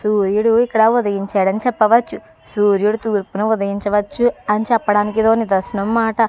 సూర్యుడు ఇక్కడ ఉదయించాడని చెప్పవచ్చు సూర్యుడు తూర్పున ఉదయించవచ్చు అని చెప్పడానికి ఇదొక నిదర్శనం అన్నమాట.